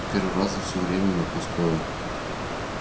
в первый раз за всё время напускное